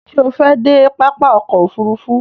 Ṣé o fẹ́ dé pápá ọkò òfurufú?